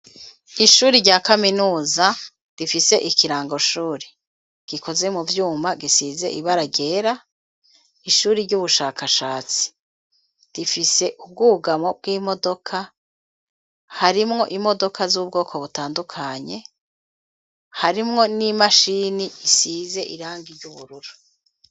Ishuri rya kaminuza, rifise ikirangoshuri, gikoze mu vyuma, gisize ibara ryera, ishuri ry'ubushakashatsi; rifise ubwugamo bw'imodoka, harimwo imodoka, z'ubwoko butandukanye, harimwo n'imashini isize irangi ry'ubururu.